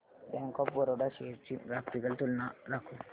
bank of Baroda shares ची graphical तुलना दाखव